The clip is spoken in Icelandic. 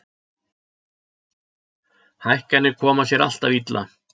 Hækkanir koma sér alltaf illa